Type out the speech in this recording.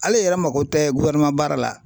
Ale yɛrɛ mako tɛ baara la